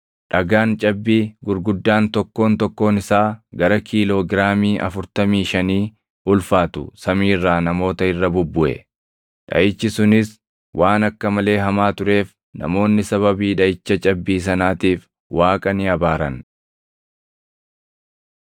Dhagaan cabbii gurguddaan tokkoon tokkoon isaa gara kiiloo giraamii afurtamii shanii ulfaatu samii irraa namoota irra bubbuʼe. Dhaʼichi sunis waan akka malee hamaa tureef namoonni sababii dhaʼicha cabbii sanaatiif Waaqa ni abaaran.